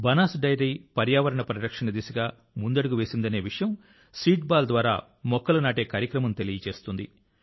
Banas dairy పర్యావరణ పరిరక్షణ దిశగా ముందడుగు వేసిందనే విషయం సీడ్బాల్ ద్వారా మొక్కలు నాటే కార్యక్రమం తెలియజేస్తుంది